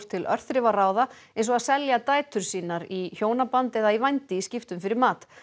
til örþrifaráða eins og að selja dætur í sínar í hjónaband eða vændi í skiptum fyrir mat